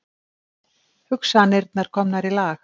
Hugsanirnar komnar í lag.